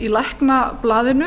í læknablaðinu